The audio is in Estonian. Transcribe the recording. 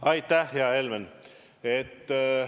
Aitäh, hea Helmen!